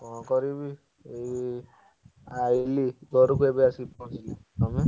କଣ କରିବି, ଏଇ ଆଇଲି ଘରକୁ ଏବେ ଆସି ପହଞ୍ଚିଲି।